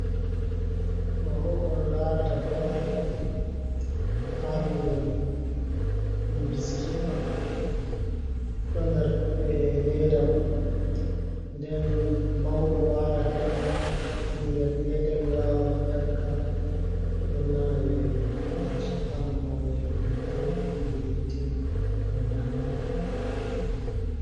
Ɗobo ko on larata do wali ɗon ha lumo ɗum biskiɗ on ɗo nder leda mun, nden mauɗo wawan ƴaka ɓingel petel wawan ƴaka to ɗon nana welo gam sukanamo welo hide nyiri timma o nyama.